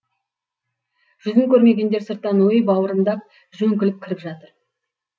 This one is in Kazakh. жүзін көрмегендер сырттан өй бауырымдап жөңкіліп кіріп жатыр